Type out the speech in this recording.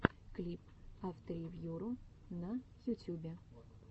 клип авторевьюру на ютьюбе